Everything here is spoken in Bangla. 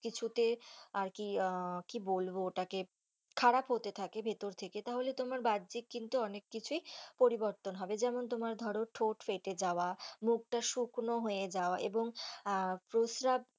কিছুতে আর কি আহ কি বলবো ওটাকে খারাপ হতে থাকে ভিতর থেকে তাহলে তোমার বাহ্যিক কিন্তু অনেক কিছুই পরিবর্তন হবে যেমন তোমার ধরো ঠোঁট ফেটে যাওয়া মুখটা শুকনো হয়ে যাওয়া অ এবং প্রসাব।